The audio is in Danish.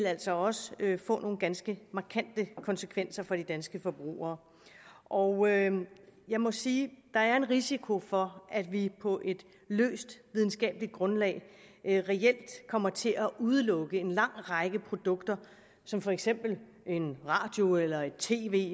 altså også vil få nogle ganske markante konsekvenser for de danske forbrugere og jeg må sige at der er en risiko for at vi på et løst videnskabeligt grundlag reelt kommer til at udelukke en lang række produkter som for eksempel en radio et et tv